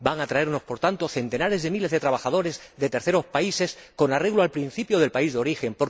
Van a llegar, por tanto, centenares de miles de trabajadores de terceros países con arreglo al principio del país de origen.